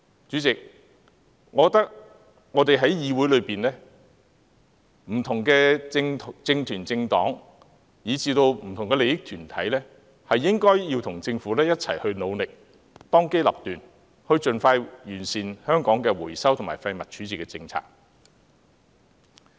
我覺得我們議會中的不同政團、政黨以至不同的利益團體均應與政府一同努力，當機立斷，盡快完善香港的回收及廢物處置政策。